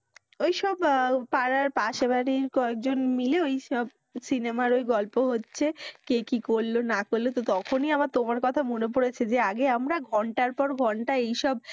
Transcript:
ঐসব পাড়ার পাশের বাড়ীর কয়েকজন মিলে ঐসব সিনেমার ওই গল্প হচ্ছে কে কি করলো না করলো তো তখনই আমার তোমার কথা মনে পরেছে যে আগে আমরা ঘণ্টার পর ঘণ্টা এইসব